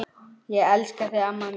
Ég elska þig amma mín.